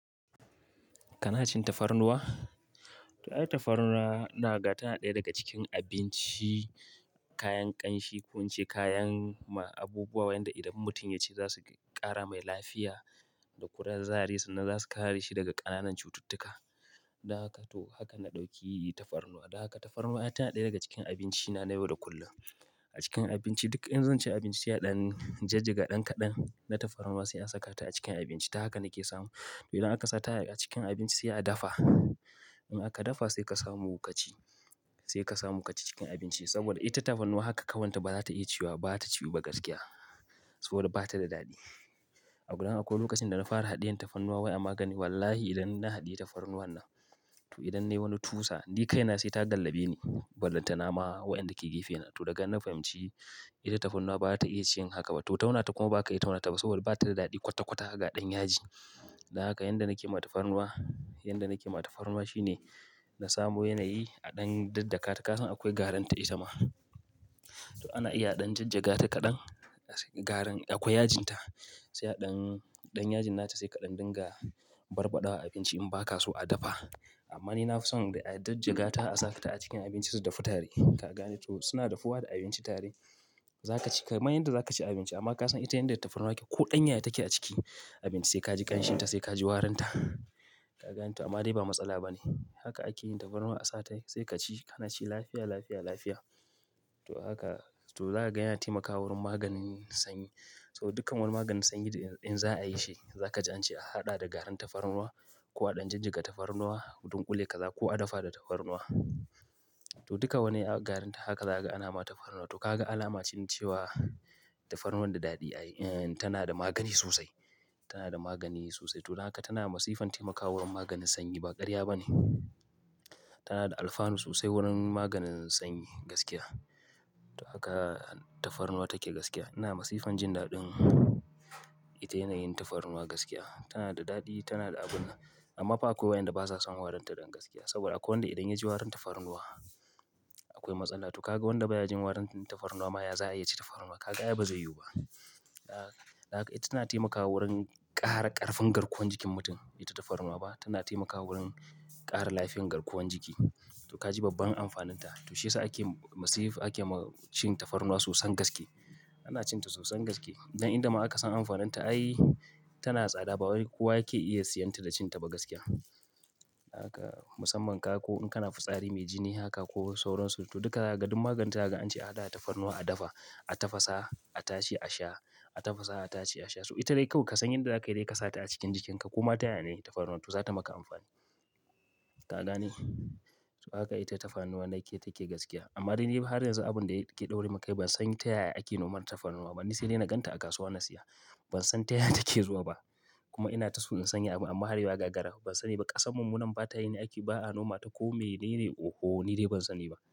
Kana cin tafarnuwa? To, ai tafarnuwa ina ga tana ɗaya daga cikin abinci, kayan ƙanshi, kun ce kayan ma abubuwa waɗanda idan mutum ya ci za su ƙara mai lafiya da kudan zari sannan za su kare shi daga ƙananan cututtuka. Dan haka to haka na ɗauki tafarnuwa. Dan haka tafarnuwa ai tana ɗaya daga cikin abinci na na yau da kullum. A cikin abinci duk in zan ci abinci sai a ɗan jajjaga ɗan kaɗan na tafarnuwa sai an saka ta a cikin abinci. Ta haka nake samu. To idan aka sa ta a cikin abinci sai a dafa. In aka dafa sai ka samu kaci, sai ka samu kaci cikin abinci saboda ita tafarnuwa haka kawai ta ba za ta iya ciwa ba, ba za ta ciwu ba gaskiya. Saboda ba ta da daɗi. A gudan akwai lokacin da na fara haɗiyan tafarnuwa wai a magani wallahi idan na haɗiye tafarnuwan nan to idan nayi wani tusa ni kaina sai ta dallabe ni. Ballantana ma waƴanda ke gefe na. To daga nan fahimci ita tafarnuwa ba za ta iya cin haka ba. To tauna ta kuma ba ka iya tauna ta ba saboda ba ta da daɗi kwata-kwata haka ɗan yaji. Dan haka yanda nake yi ma tafarnuwa, yanda nake yi ma tafarnuwa shine na samu yanayi a ɗan daddakata kasan akwai garin ta ita ma. To ana iya a ɗan jajjaga ta kaɗan, garin akwai yajin ta. Sai a ɗan, ɗan yajin na ta sai kaɗan dinga barbaɗawa abinci in ba ka so a dafa. Amma ni na fi son a ɗan jajjaga ta a sata a cikin abincin su dafu tare. Ka gane? To suna dafuwa da abinci tare. Za ka ci, kaman yanda za ka ci abinci amma ka san ita yanda tafarnuwa yake, ko ɗan yaya take a ciki abinci sai ka ji ƙanshin ta sai ka ji warin ta. Ka gane to? Amma dai ba matsala ba ne. Haka ake yin tafarnuwa a sa ta sai ka ci. Kana ci lafiya, lafiya, lafiya. To haka, to zaka ga ya taimaka wurin maganin sanyi. Saboda dukkan wani maganin sanyi in za a yi shi za ka ji an ce a haɗa da garin tafarnuwa ko a ɗan jajjaga tafarnuwa, dunƙule ka za ko a dafa da tafarnuwa. To duka wani a garin ta haka za ka ga ana ma tafarnuwa. To kaga alama ce na cewa tafarnuwan da daɗi ai, eh tana da magani sosai. Tana da magani sosai. To daga haka tana a masifan taimakawa wurin maganin sanyi ba ƙarya ba ne. Tana da alfanu sosai wurin maganin sanyi gaskiya. To haka tafarnuwa take gaskiya. Ina a masifan jin daɗin ita yanayin tafarnuwa gaskiya. Tana da daɗi, tana da abun amma fa akwai waƴanda ba sa son warin ta ɗan gaskiya. Saboda akwai wanda idan ya ji warin tafarnuwa akwai matsala. To ka ga wanda ba ya jin warin tafarnuwa ma ya za a yi shi tafarnuwa? Ka ga ai ba zai yiwu ba. Dan, dan haka ita tana taimakawa wurin ƙara ƙarfin garkuwan jikin mutum, ita tafarnuwa ba. Tana taimakawa wurin ƙara lafiyan garkuwan jiki. To ka ji babban amfanin ta. To shiyasa ake masif ake cin tafarnuwa sosan gaske. Ana cin ta sosan gaske. Don inda ma aka san amfanin ta ai tana tsada ba kowa yake iya siyan ta da cin ta ba gaskiya. Haka, musamman ka ko in kana fitsari mai jini haka ko sauran su. To duka zaka ga duk maganin ta zakaga an ce a haɗa da tafarnuwa a dafa, a tafasa, a tace a sha, a tafasa a tace a sha. So ita dai kawai ka san yanda za ka yi dai ka sa ta a cikin jikinka koma ta yaya ne tafarnuwan to za ta maka amfani. Ka gane? To haka ita tafarnuwa na yake take gaskiya. Amma dai ni har yanzu abun da yake ɗaure mun kai ban san ta yaya ake noman tafarnuwa bane. Ni sai dai na ganta a kasuwa na siya. Ban san ta yaya take zuwa ba. Kuma ina ta so in sanya abun amma har yau gagara ban sani ba. Kasan mu munan ba ta yi ne ake ba'a noma ta ko me nene oho ni dai ban sani ba.